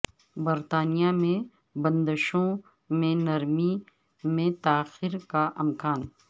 برطانیہ میں بندشوں میں نرمی میں تاخیر کا امکان